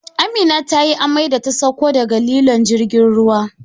Amina tayi amai da ta sauko daga lilon jirgin ruwa